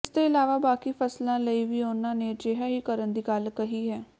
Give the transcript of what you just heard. ਇਸਦੇ ਇਲਾਵਾ ਬਾਕੀ ਫਸਲਾਂ ਲਈ ਵੀ ਉਨ੍ਹਾਂ ਨੇ ਅਜਿਹਾ ਹੀ ਕਰਨ ਦੀ ਗੱਲ ਕਹੀ ਹੈ